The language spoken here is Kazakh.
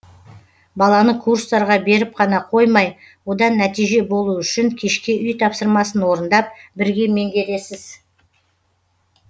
баланы курстарға беріп қана қоймай одан нәтиже болу үшін кешке үй тапсырмасын орындап бірге меңгересіз